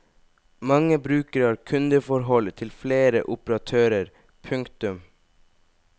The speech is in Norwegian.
Mange brukere har kundeforhold til flere operatører. punktum